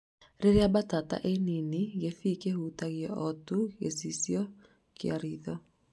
Riria mbatata i nini, gĩbii kĩhutagia o tu gĩcicio kĩa ritho